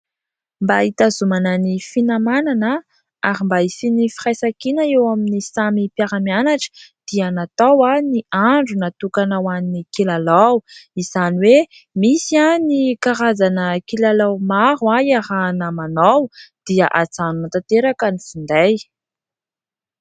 Mba hitazomana ny finamanana ary mba hisian'ny firaisankina eo amin'ny samy mpiara-mianatra dia natao ny andro natokana ho an'ny kilalao ; izany hoe misy ny karazana kilalao maro iarahana manao dia hajanona tanteraka ny finday.